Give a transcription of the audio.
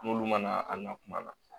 N'olu mana a na kuma na